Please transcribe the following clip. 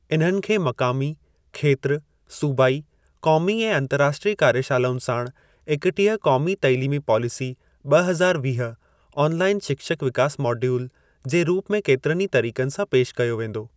इन्हनि खे मक़ामी, खेत्र, सूबाई, क़ौमी ऐं अंतर्राष्ट्रीय कार्यशालाउनि साणु एकटीह क़ौमी तइलीमी पॉलिसी ॿ हज़ार वीह 'ऑनलाईन शिक्षक विकास मॉड्यूल' जे रूप में केतिरनि ई तरीक़नि सां पेशि कयो वेंदो।